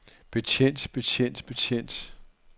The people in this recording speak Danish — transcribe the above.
betjent betjent betjent